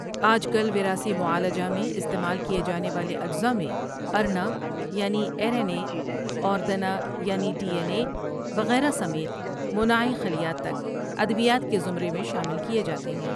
آج کل وراثی معالجہ میں استعمال کیے جانے والے اجزاء میں ارنا یعنی ایر این ایے اور دنا یعنی ڈی این ایے وغیرہ سمیت مناعی خلیات تک ادویات کے زمرے میں شامل کیے جاتے ہیں ۔